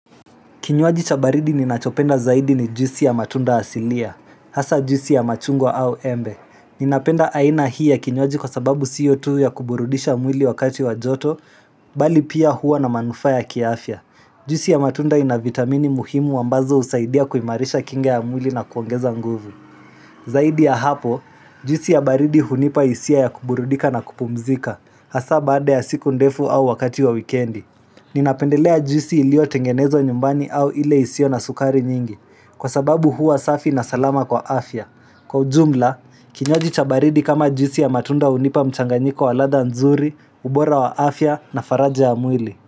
Kinywaji cha baridi ninachopenda zaidi ni juisi ya matunda asilia, hasa juisi ya machungwa au embe. Ninapenda aina hii ya kinywaji kwa sababu siyo tu ya kuburudisha mwili wakati wa joto, bali pia huwa na manufaa ya kiafya. Juisi ya matunda ina vitamini muhimu ambazo husaidia kuimarisha kinga ya mwili na kuongeza nguvu. Zaidi ya hapo, juisi ya baridi hunipa hisia ya kuburudika na kupumzika, hasa baada ya siku ndefu au wakati wa wikendi. Ninapendelea juisi iliyotengenezwa nyumbani au ile isio na sukari nyingi. Kwa sababu huwa safi na salama kwa afya. Kwa ujumla, kinywaji cha baridi kama juisi ya matunda hunipa mchanganyiko wa ladha nzuri, ubora wa afya na faraja ya mwili.